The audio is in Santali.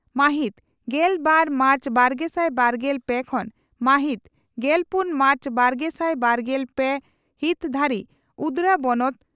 ᱢᱟᱦᱤᱛ ᱜᱮᱞ ᱵᱟᱨ ᱢᱟᱨᱪ ᱵᱟᱨᱜᱮᱥᱟᱭ ᱵᱟᱨᱜᱮᱞ ᱯᱮ ᱠᱷᱚᱱ ᱢᱟᱦᱤᱛ ᱜᱮᱞᱯᱩᱱ ᱢᱟᱨᱪ ᱵᱟᱨᱜᱮᱥᱟᱭ ᱵᱟᱨᱜᱮᱞ ᱯᱮ ᱦᱤᱛ ᱫᱷᱟᱹᱨᱤᱡ ᱩᱫᱽᱲᱟ ᱵᱚᱱᱚᱛ